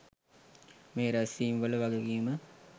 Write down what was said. මේ රැස්වීම්වල වගකීම